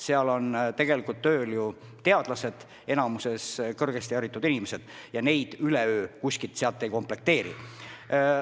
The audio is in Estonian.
Seal on tegelikult enamikus tööl teadlased, kõrgesti haritud inimesed, ja sellist koosseisu üleöö kohapeal ei komplekteeri.